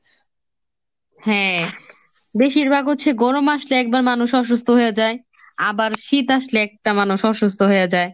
হ্যাঁ, বেশিরভাগ হচ্ছে গরম আসলে একবার মানুষ অসুস্থ হয়ে যায়, আবার শীত আসলে একটা মানুষ অসুস্থ হয়ে যায়।